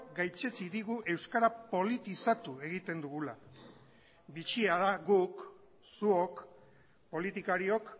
gaitzetsi digu euskara politizatu egiten dugula bitxia da guk zuok politikariok